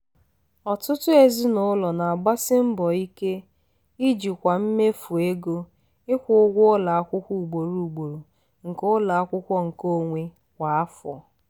ọtụtụ ezinụlọ na-agbasi mbọ ike ijikwa mmefu ego ịkwụ ụgwọ ụlọ akwụkwọ ugboro ugboro nke ụlọ akwụkwọ nkeonwe kwa afọ